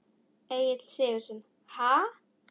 Egill Sigurðsson: Ha?